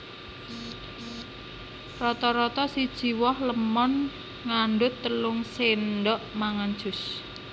Rata rata siji woh lémon ngandhut telung sendhok mangan jus